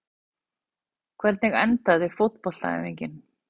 hvernig endaði fótboltaæfingin